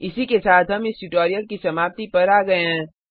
इसी के साथ हम इस ट्यूटोरियल की समाप्ति पर आ गए हैं